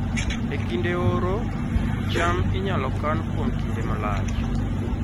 E kinde oro, cham inyalo kan kuom kinde malach